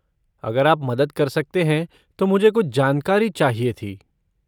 अगर आप मदद कर सकते हैं तो मुझे कुछ जानकारी चाहिए थी।